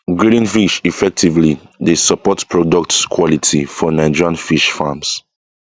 grading fish effectively dey support products quality for nigerian fish farms